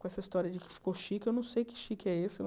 Com essa história de que ficou chique, eu não sei que chique é esse.